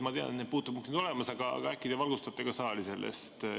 Ma tean, et puutepunktid on olemas, aga äkki te valgustate ka saali.